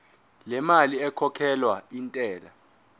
lemali ekhokhelwa intela